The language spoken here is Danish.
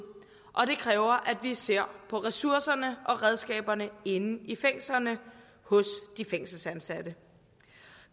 og det kræver at vi ser på ressourcerne og redskaberne inde i fængslerne hos de fængselsansatte